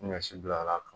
Ɲɔ si bila l'a kan